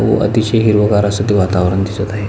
व अतिशय हिरवगार अस ते वातावरण दिसत आहे.